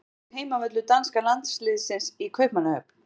Hvað heitir heimavöllur danska landsliðsins í Kaupmannahöfn?